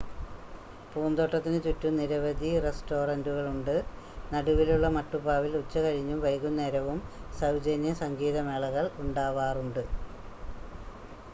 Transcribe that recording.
പൂന്തോട്ടത്തിന് ചുറ്റും നിരവധി റെസ്റ്റോറൻ്റുകളുണ്ട് നടുവിലുള്ള മട്ടുപ്പാവിൽ ഉച്ചകഴിഞ്ഞും വൈകുന്നേരവും സൗജന്യ സംഗീതമേളകൾ ഉണ്ടാവാറുണ്ട്